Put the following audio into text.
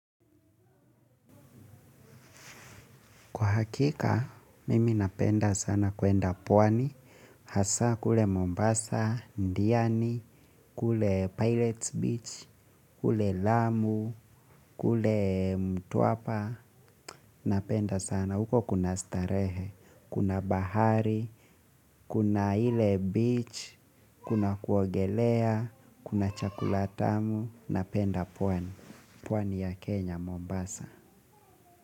Kwa hakika, mimi napenda sana kuenda pwani. Hasa kule Mombasa, Diani, kule Pirates Beach, kule Lamu, kule Mtuapa. Napenda sana, huko kuna starehe, kuna bahari, kuna ile beach, kuna kuogelea, kuna chakula tamu. Napenda pwani. Pwani ya Kenya, Mombasa.